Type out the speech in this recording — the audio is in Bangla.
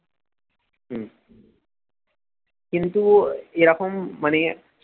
হম কিন্তু ও এরকম মানে